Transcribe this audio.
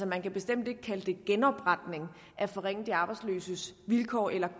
man kan bestemt ikke kalde det genopretning at forringe de arbejdsløses vilkår eller